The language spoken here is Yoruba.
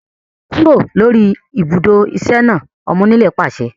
Kúrò lórí ibùdó iṣẹ́ náà! Ọmọ onílẹ̀ pàṣẹ